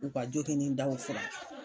U ka